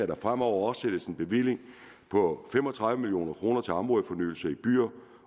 der fremover afsættes en bevilling på fem og tredive million kroner til områdefornyelse i byer